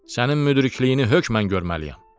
Sənin müdrikliyini hökmən görməliyəm.